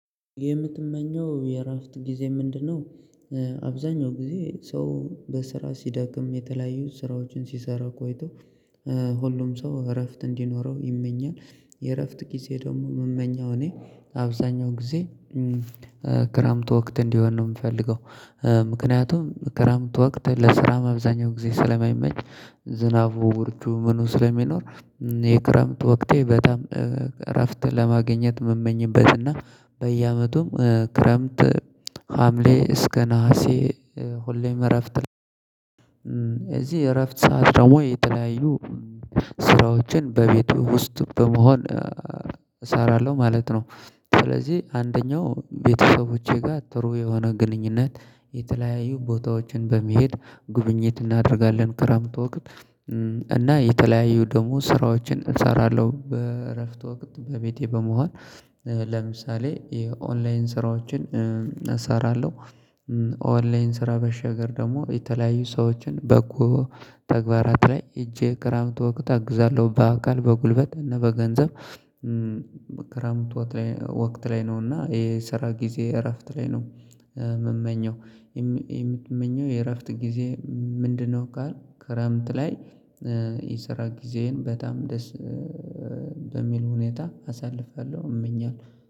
የምትመኛው የአራፍት ጊዜ ምንድነው? አብዛኛው ጊዜ ሰው በስራ ስዳክም የተለያዩ ስራዎችን ሲሰራ ቆይቶ ሁሉም ሰው አረፍት አንዲኖረው ይመኛል። የእረፍት ጊዜ ደግሞ የምመኛው እኔ አብዛኛው ጊዜ ክረምት ወቅት እንዲሆን ነው የምፈልገው። ምክንያቱም ክረምት ወቅት ለስራ መብዛኛው ጊዜ ስለማይመች ዝናቡ ብርዱ ምኑ ስለሚኖር። የክረምት ወቅቴ በጣም እረፍት ለማግኛት የምመኝበት እና በየአመቱም ክረምት ሀምሌ እስከ ነሀሴ ሁሌም እረፍት ላይ እዚህ እረፍት ሰዓት ደግሞ የተለያዩ ስራዎችን በቤት ውስጥ በመሆን እሰራለሁ ማለት ነው። ስለዚህ አንደኛው ቤተሰቦቼ ጋር ጥሩ የሆነ ግንኙነት የተለያዩ ቦታዎችን በመሄድ ጉብኝት እናደርጋለን ክረምት ወቅት። እና የተለያዩ ደግሞ ስራዎችን እሰራለሁ በእረፍት ወቅት በቤቴ በመሆን ለምሳሌ የኦንላይን ስራዎችን እሰራለሁ። ኦንላይን ስራ በሻገር ደግሞ የተለያዩ ሰዎችን በጎ ተግባራት ላይ ሄጄ ክራምት ወቅት አግዛለሁ በአካል በጉልበት እና በገንዘብ። ክራምት ወቀት ላይ ነው እና የሰራ ጊዜ እረፍት ላይ ነው። የምመኝይማው የምመኛው የእረፍት ጊዜ ምንድነው? ካለ ክረምት ላይ የስራ ጊዜዬን በጣም ደስ በሚል ሁኔታ አሳልፋለሁ እመኛለሁ።